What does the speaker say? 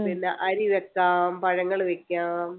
പിന്നെ അരിവെക്കാം പഴങ്ങൾ വെക്കാം